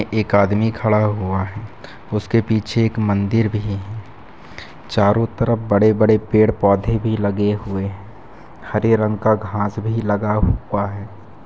एक आदमी खड़ा हुआ है उसके पीछे एक मन्दिर भी है चारों तरफ बड़े-बड़े पेड़ पौधे भी लगे हुए हैं हरे रंग का घांस भी लगा हुआ है।